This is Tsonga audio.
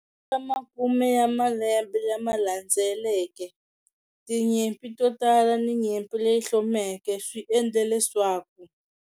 Eka makume ya malembe lama landzeleke, tinyimpi to tala ni nyimpi leyi hlomeke swi endle leswaku.